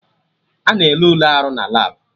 Ana ele Ule arụ na labụ